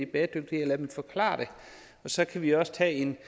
bæredygtigt og lade dem forklare det så kan vi også tage en